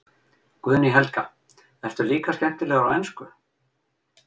Guðný Helga: Ertu líka skemmtilegur á ensku?